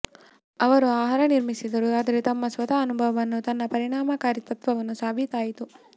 ಅವರು ಆಹಾರ ನಿರ್ಮಿಸಿದರು ಆದರೆ ತಮ್ಮ ಸ್ವಂತ ಅನುಭವವನ್ನು ತನ್ನ ಪರಿಣಾಮಕಾರಿತ್ವವನ್ನು ಸಾಬೀತಾಯಿತು